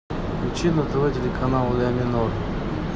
включи на тв телеканал ля минор